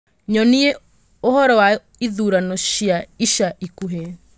nyonie ũhoro wa ithurano cia ica ikuhĩ